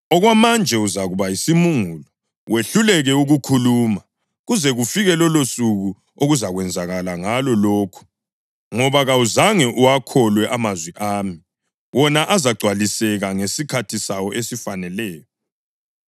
Okwamanje uzakuba yisimungulu wehluleke ukukhuluma kuze kufike lolosuku okuzakwenzakala ngalo lokhu, ngoba kawuzange uwakholwe amazwi ami, wona azagcwaliseka ngesikhathi sawo esifaneleyo.”